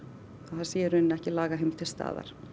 það sé í raun ekki lagaheimild til staðar